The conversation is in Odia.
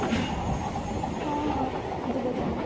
ହଁ ହଁ ଯିବା ତାହେଲେ